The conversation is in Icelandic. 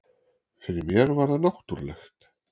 Fyrir mér var það náttúrulegt